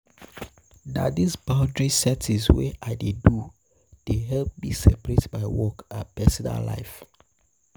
Na dis boundary setting wey I dey do dey help me separate my work and personal life.